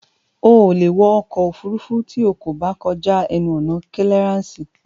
O ò lè wọ ọkọ̀ òfurufú tí o kò bá kọjá ẹnu ọ̀nà kílíarànsì